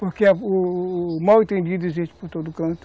Porque o o mal entendido existe por todo canto.